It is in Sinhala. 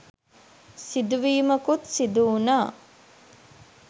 සිදුවීමකුත් සිදු වුනා..